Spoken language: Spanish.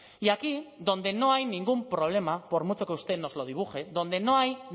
y aquí donde no hay ningún problema por mucho que usted nos lo dibuje donde no hay